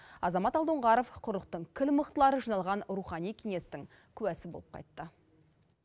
азамат алдоңғаров құрлықтың кіл мықтылары жиналған рухани кеңестің куәсі болып қайтты